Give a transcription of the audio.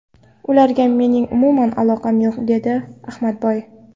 Ularga mening umuman aloqam yo‘q”, dedi Ahmadboy.